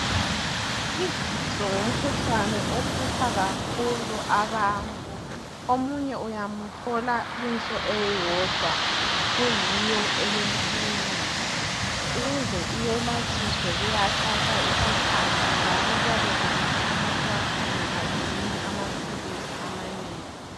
Izinso ngumkhuhlane ohlupha kakhulu abantu omunye uyamthola inso eyodwa kuyiyo elenkinga. Ukuze iyelatshiswe kuyathatha isikhathi njalo kuyabe kumele umuntu wakhona aginye amaphilisi amanengi.